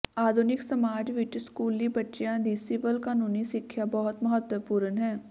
ਆਧੁਨਿਕ ਸਮਾਜ ਵਿਚ ਸਕੂਲੀ ਬੱਚਿਆਂ ਦੀ ਸਿਵਲ ਕਾਨੂੰਨੀ ਸਿੱਖਿਆ ਬਹੁਤ ਮਹੱਤਵਪੂਰਨ ਹੈ